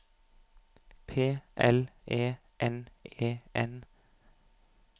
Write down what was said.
P L E N E N